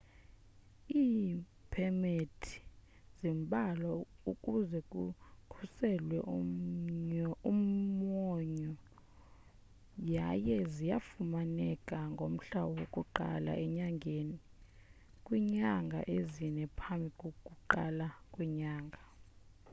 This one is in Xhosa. iipemithi zimbalwa ukuze kukhuselwe umwonyo yaye zifumaneka ngomhla woku-1 enyangeni kwiinyanga ezine ngaphambi kokuqala kwenyanga